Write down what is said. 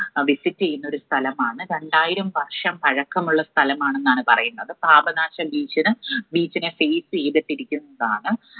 അവിടെ എത്തിചേരുന്നൊരു സ്ഥലമാണ് രണ്ടായിരം വർഷം പഴക്കമുള്ള സ്ഥലമാണെന്നാണ് പറയുന്നത് പാപനാശ beach ന് beach നെ face എയ്‌തിട്ട് ഇരിക്കുന്നതാണ്